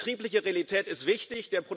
Die betriebliche Realität ist wichtig.